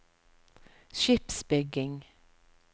skipsbygging